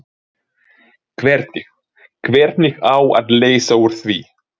Hvernig, hvernig á að leysa úr því?